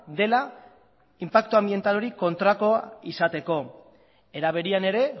dela inpaktu anbiental hori kontrako izateko era berean ere